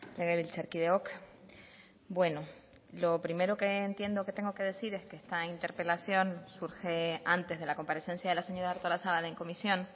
legebiltzarkideok bueno lo primero que entiendo que tengo que decir es que esta interpelación surge antes de la comparecencia de la señora artolazabal en comisión